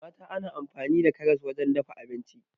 Mata na amfani da karas wajen dafa abinci